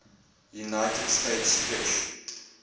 united states fish